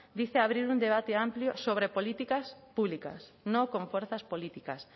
dice abrir un debate amplio sobre políticas públicas no con fuerzas políticas